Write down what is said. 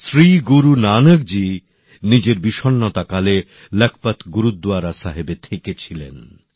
শ্রী গুরু নানকজী নিজের বিষন্নতার সময়ে লাখপত গুরদ্বারা সাহেবে থেকেছিলেন